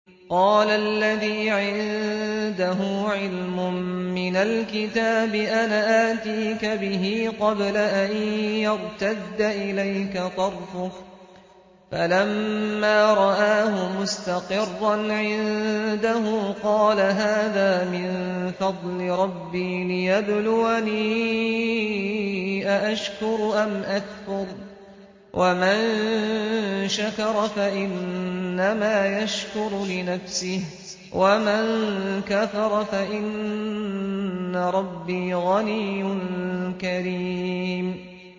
قَالَ الَّذِي عِندَهُ عِلْمٌ مِّنَ الْكِتَابِ أَنَا آتِيكَ بِهِ قَبْلَ أَن يَرْتَدَّ إِلَيْكَ طَرْفُكَ ۚ فَلَمَّا رَآهُ مُسْتَقِرًّا عِندَهُ قَالَ هَٰذَا مِن فَضْلِ رَبِّي لِيَبْلُوَنِي أَأَشْكُرُ أَمْ أَكْفُرُ ۖ وَمَن شَكَرَ فَإِنَّمَا يَشْكُرُ لِنَفْسِهِ ۖ وَمَن كَفَرَ فَإِنَّ رَبِّي غَنِيٌّ كَرِيمٌ